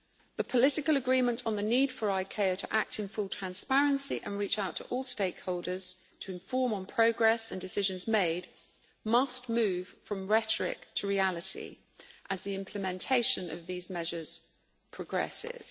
The political agreement on the need for ICAO to act in full transparency and reach out to all stakeholders to inform on progress and decisions made must move from rhetoric to reality as the implementation of these measures progresses.